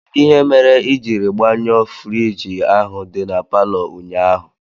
Kedụ ihe mere ijiri gbanyuo fruidge ahụ dị n'paló ụnyaahụ?